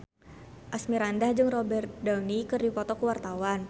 Asmirandah jeung Robert Downey keur dipoto ku wartawan